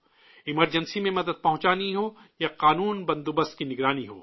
emergency میں مدد پہنچانی ہو یا قانون اور نظم و نسق کی نگرانی ہو